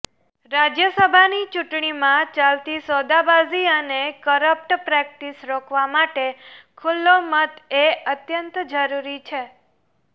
રાજ્યસભાની ચૂંટણીમાં ચાલતી સોદાબાજી અને કરપ્ટ પ્રેક્ટિસ રોકવા માટે ખુલ્લો મત એ અત્યંત જરૂરી છે